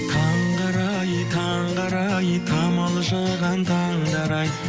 таңғы арай таңғы арай тамылжыған таңдар ай